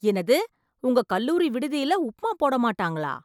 என்னது உங்க கல்லூரி விடுதியில் உப்புமா போட மாட்டாங்களா